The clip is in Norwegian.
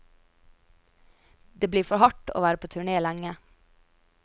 Det blir for hardt å være på turné lenge.